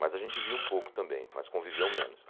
Mas a gente via um pouco também, mas conviveu menos.